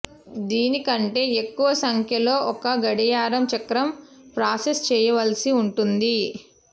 దీని కంటే ఎక్కువ సంఖ్యలో ఒక గడియారం చక్రం ప్రాసెస్ చేయవలసి ఉంటుంది